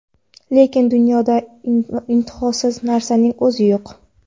Lekin dunyoda intihosiz narsaning o‘zi yo‘q.